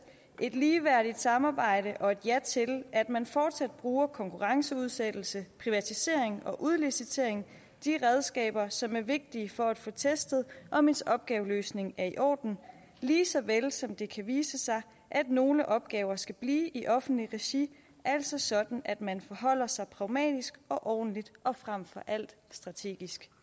et ligeværdigt samarbejde og et ja til at man fortsat bruger konkurrenceudsættelse privatisering og udlicitering de redskaber som er vigtige for at få testet om ens opgaveløsning er i orden lige så vel som det kan vise sig at nogle opgaver skal blive i offentligt regi altså sådan at man forholder sig pragmatisk og ordentligt og frem for alt strategisk